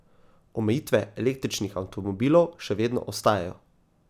Omejitve električnih avtomobilov še vedno ostajajo.